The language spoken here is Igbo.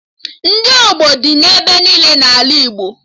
Ndị ọgbọ dị ebe niile n'ala Igbo